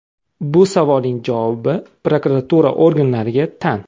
Bu savolning javobi prokuratura organlariga tan.